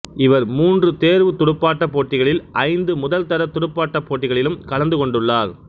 இவர் மூன்று தேர்வுத் துடுப்பாட்டப் போட்டிகளிலும் ஐந்து முதல்தர துடுப்பாட்டப் போட்டிகளிலும் கலந்து கொண்டுள்ளார்